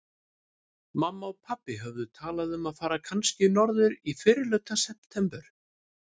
Mamma og pabbi höfðu talað um að fara kannski norður í fyrrihluta september.